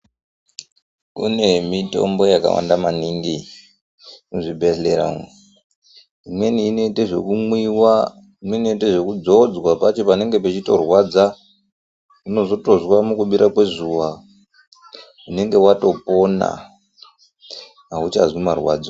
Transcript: Kune mitombo yakawanda maningi muzvibhedhlera umwo, imweni inoite zvekumwiwa, imweni inoite zvekudzodzwa pacho panenge pachitorwadza unozotozwa mukubira kwezuva unenge watopona auchazwi marwadzo.